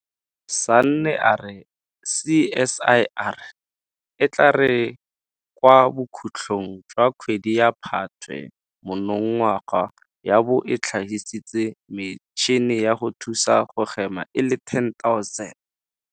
Sanne a re CSIR e tla re kwa bokhutlong jwa kgwedi ya Phatwe monongwaga ya bo e tlhagisitse metšhini ya go thusa go hema e le 10 000.